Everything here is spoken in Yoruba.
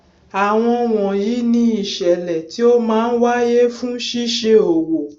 àwọn wọnyí ni ìṣẹlẹ tí ó máa ń wáyé fún ṣíṣe òwò